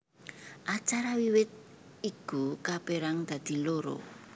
Acara wiwit iku kapérang dadi loro